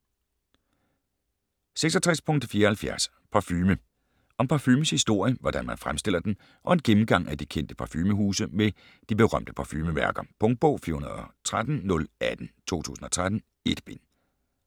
66.74 Parfume Om parfumens historie, hvordan man fremstiller den og en gennemgang af de kendte parfumehuse samt de berømte parfumemærker. Punktbog 413018 2013. 1 bind.